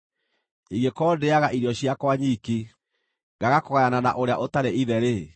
ingĩkorwo ndĩĩaga irio ciakwa nyiki, ngaaga kũgayana na ũrĩa ũtarĩ ithe-rĩ,